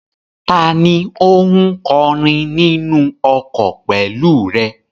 Tani ó ń kọrin nínú ọkọ̀ pẹ̀lú rẹ?